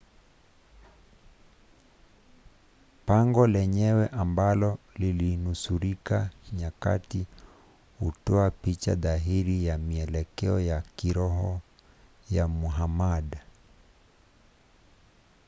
pango lenyewe ambalo lilinusurika nyakati hutoa picha dhahiri ya mielekeo ya kiroho ya muhammad